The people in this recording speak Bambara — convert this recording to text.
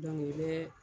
i bɛ